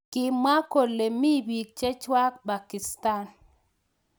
Kimwa kole mi bik. chechwak Pakisatan.